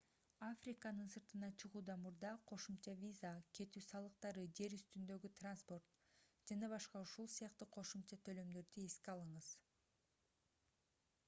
африканын сыртына чыгуудан мурда кошумча виза кетүү салыктары жер үстүндөгү транспорт ж.б.у.с. кошумча төлөмдөрдү эске алыңыз